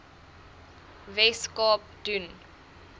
wes kaap doen